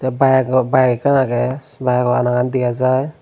te bike ekkan agey biyego anagan dega jar.